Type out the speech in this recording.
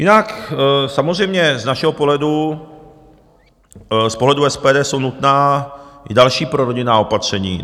Jinak samozřejmě z našeho pohledu, z pohledu SPD jsou nutná i další prorodinná opatření.